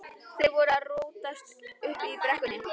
Þeir voru að rótast uppi í brekkum.